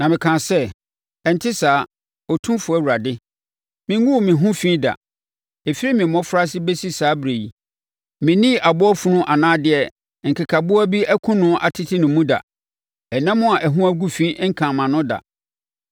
Na mekaa sɛ, “Ɛnte saa, Otumfoɔ Awurade! Menguu me ho fi da. Ɛfiri me mmɔfraase bɛsi saa ɛberɛ yi, mennii aboa funu anaa deɛ nkekaboa bi akum no atete ne mu da. Ɛnam a ɛho agu fi nkaa mʼano da.”